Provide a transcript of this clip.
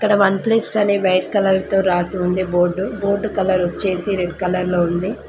ఇక్కడ one plus అని white colour తో రాసి ఉంది బోర్డ్ బోర్డ్ కలర్ వచ్చేసి రెడ్ కలర్ లో ఉంది.